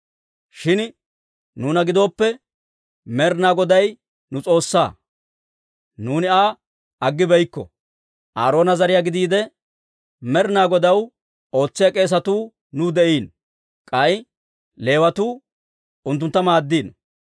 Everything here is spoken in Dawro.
«Shin nuuna gidooppe, Med'inaa Goday nu S'oossaa; nuuni Aa aggibeykko. Aaroona zariyaa gidiide Med'inaa Godaw ootsiyaa k'eesatuu nuw de'iino; k'ay Leewatuu unttuntta maaddino.